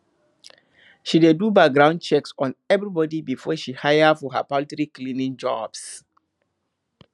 she dey do background checks on everybody before she hire for her poultry cleaning jobs